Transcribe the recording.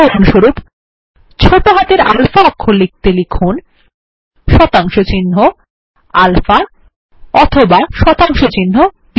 উদাহরণস্বরূপ ছোট হাতে আলফা লিখতে লিখুন160alpha অথবা160beta